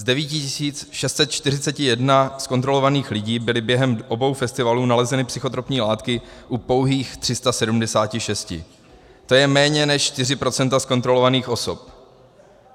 Z 9641 zkontrolovaných lidí byly během obou festivalů nalezeny psychotropní látky u pouhých 376, to je méně než 4 % z kontrolovaných osob.